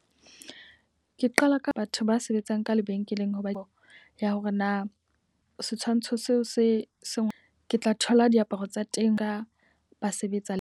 Ke qala ka batho ba sebetsang ka lebenkeleng hoba eo ya hore na setshwantsho seo se seng ke tla thola diaparo tsa teng ka ba sebetsa le.